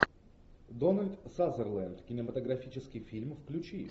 дональд сазерленд кинематографический фильм включи